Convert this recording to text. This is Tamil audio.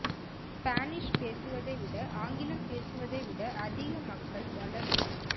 ஸ்பானிஷ் பேசுவதை விட ஆங்கிலம் பேசுவதை விட அதிக மக்கள் வளரும்